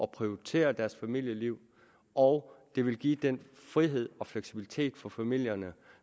prioritere deres familieliv og det ville give den frihed og fleksibilitet for familierne